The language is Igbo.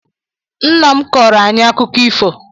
Nna m kọọrọ anyị akụkọ ifo.